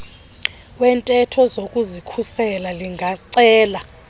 wentetho yokuzikhusela lingacela